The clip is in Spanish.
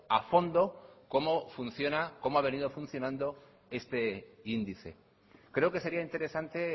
a fondo cómo funciona cómo ha venido funcionando este índice creo que sería interesante